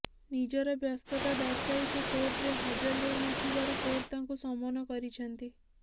ନିଜର ବ୍ୟସ୍ତତା ଦର୍ଶାଇ ସେ କୋର୍ଟରେ ହାଜର ହେଉନଥିବାରୁ କୋର୍ଟ ତାଙ୍କୁ ସମନ କରିଛନ୍ତି